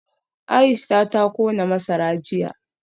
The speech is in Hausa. Aisha ta kona masara jiya